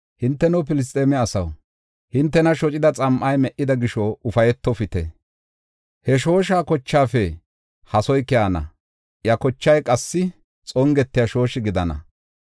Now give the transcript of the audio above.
Hinteno Filisxeeme asaw, hintena shocida xam7ay me77ida gisho ufaytofite. He shoosha kochaafe hasoy keyana; iya kochay qassi xongetiya shooshi gidana.